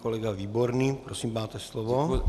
Kolega Výborný, prosím, máte slovo.